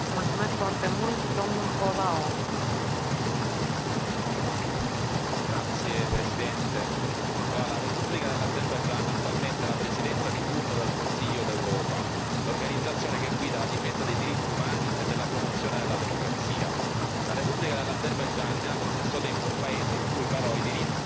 Signora Presidente, onorevoli colleghi, la Repubblica dell'Azerbaigian ha attualmente la presidenza di turno del Consiglio d'Europa, l'organizzazione che guida la difesa dei diritti umani e della promozione della democrazia. La Repubblica dell'Azerbaigian è allo stesso tempo un paese in cui i diritti sono sistematicamente violati,